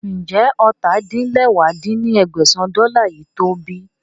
Ń jẹ́ ọ́ta-din-lẹwá dín ní ẹgbẹ́sán dọ́là yìí to ọ bí